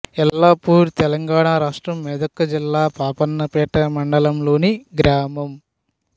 ఎల్లపూర్ తెలంగాణ రాష్ట్రం మెదక్ జిల్లా పాపన్నపేట మండలంలోని గ్రామం